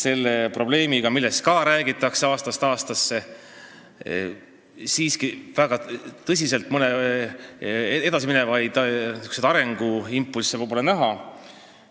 Sellest probleemist on räägitud aastast aastasse, aga väga tõsiselt edasiviivaid arenguimpulsse pole näha.